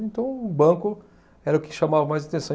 Então, o banco era o que chamava mais atenção.